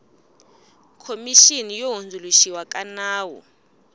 khomixini yo hundzuluxiwa ka nawu